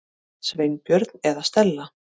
Sveinbjörn eða Stella.